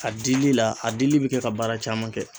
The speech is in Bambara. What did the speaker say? A dili la a dili bɛ kɛ ka baara caman kɛ.